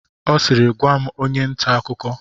Ọ siiri, gwaa! onye nta akụkọ!